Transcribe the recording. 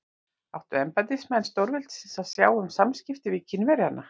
Áttu embættismenn stórveldisins að sjá um samskiptin við Kínverjana?